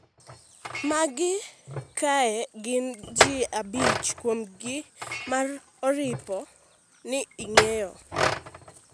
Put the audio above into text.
magi kae gin ji abich kuom gi ma oripo ni ing'eyo